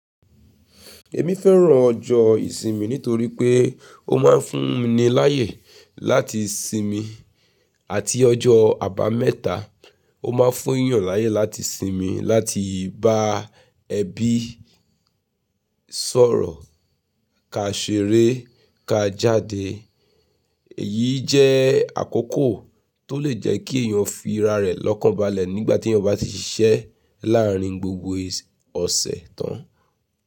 Èmi fẹ́ràn ọjọ́ ìsinmi nítorí pé ó máa ń fún ni láyè láti sinmi àti ọjọ́ àbámẹ́ta ó máa ń fún 'yàn láyè láti sinmi láti bá ẹbí sọ̀rọ̀, kaa ṣeré, kaa jáde. Èyí jẹ́ àkókò tó lè jẹ́ kí èyàn fi ra rẹ̀ lọ́kàn balẹ̀ nígbà tí èyàn bá ti ṣiṣẹ́ láárín gbogbo ọ̀sẹ̀ tán.